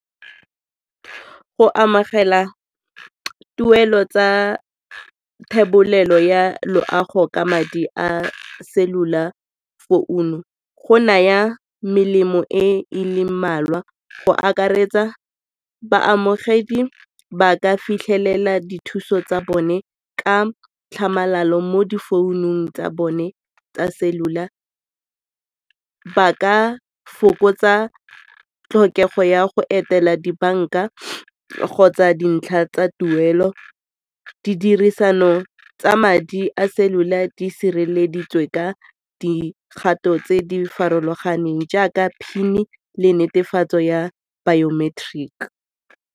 Go amogela tuelo tsa thebolelo ya loago ka madi a cellular founu go naya melemo e e leng mmalwa. Go akaretsa baamogedi ba ka fitlhelela dithuso tsa bone ka tlhamalalo mo di founung tsa bone tsa cellular, ba ka fokotsa tlhokego ya go etela dibanka kgotsa dintlha tsa tuelo, ditirisano tsa madi a cellular di sireleditswe ka dikgato tse di farologaneng jaaka PIN-e le netefatso ya biometric.